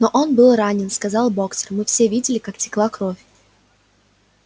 но он был ранен сказал боксёр мы все видели как текла кровь